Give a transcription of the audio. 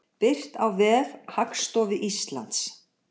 Birt á vef Hagstofu Íslands.